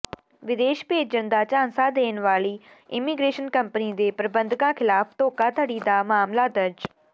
ਵਿਦੇਸ਼ ਭੇਜਣ ਦਾ ਝਾਂਸਾ ਦੇਣ ਵਾਲੀ ਇੰਮੀਗ੍ਰੇਸ਼ਨ ਕੰਪਨੀ ਦੇ ਪ੍ਰਬੰਧਕਾਂ ਿਖ਼ਲਾਫ਼ ਧੋਖਾਧੜੀ ਦਾ ਮਾਮਲਾ ਦਰਜ